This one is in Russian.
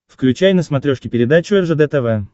включай на смотрешке передачу ржд тв